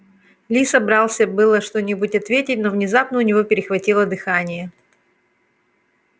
ли собрался было что-нибудь ответить но внезапно у него перехватило дыхание